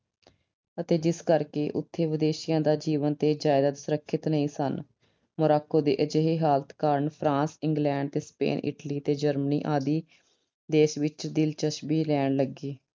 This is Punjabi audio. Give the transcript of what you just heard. ਅਤੇ ਜਿਸ ਕਰਕੇ ਉਥੇ ਵਿਦੇਸ਼ੀਆਂ ਦਾ ਜੀਵਨ ਤੇ ਜਾਇਦਾਦ ਸੁਰੱਖਿਅਤ ਨਹੀਂ ਸਨ। Morocco ਦੇ ਅਜਿਹੇ ਹਾਲਤ ਕਾਰਨ France, England ਤੇ Spain, Italy ਤੇ Germany ਆਦਿ ਦੇਸ਼ ਵਿੱਚ ਦਿਲਚਸਪੀ ਲੈਣ ਲੱਗੇ।